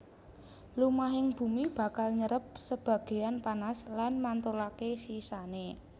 Lumahing bumi bakal nyerep sebagéyan panas lan mantulaké sisané